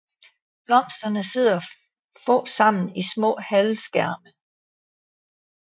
Blomsterne sidder få sammen i små halvskærme